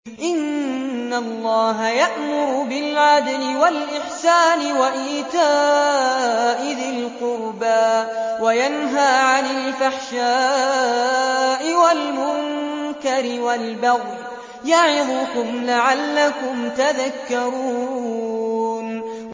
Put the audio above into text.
۞ إِنَّ اللَّهَ يَأْمُرُ بِالْعَدْلِ وَالْإِحْسَانِ وَإِيتَاءِ ذِي الْقُرْبَىٰ وَيَنْهَىٰ عَنِ الْفَحْشَاءِ وَالْمُنكَرِ وَالْبَغْيِ ۚ يَعِظُكُمْ لَعَلَّكُمْ تَذَكَّرُونَ